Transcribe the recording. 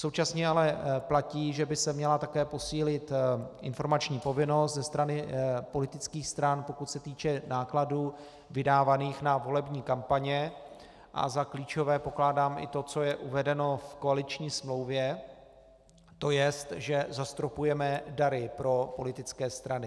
Současně ale platí, že by se měla také posílit informační povinnost ze strany politických stran, pokud se týče nákladů vydávaných na volební kampaně, a za klíčové pokládám i to, co je uvedeno v koaliční smlouvě, to jest, že zastropujeme dary pro politické strany.